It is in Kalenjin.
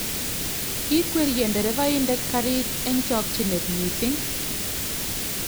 kikwerie nderefaindet karit eng chokchinet missing